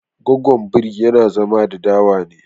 Gwaggon biri yana zama da dawa ne